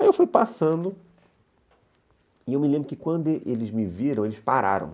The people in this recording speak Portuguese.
Aí eu fui passando, e eu me lembro que quando eles me viram, eles pararam.